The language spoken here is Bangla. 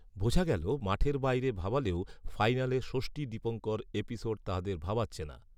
বোঝা গেল মাঠের বাইরে ভাবালেও ফাইনালে ষষ্ঠী দীপঙ্কর এপিসোড তাদের ভাবাচ্ছে না